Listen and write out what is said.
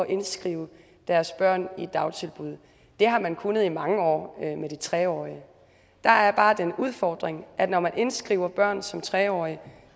indskrive deres børn i et dagtilbud det har man kunnet i mange år med de tre årige der er bare den udfordring at når man indskriver børn som tre årige